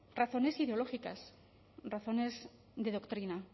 razones ideológicas razones de doctrina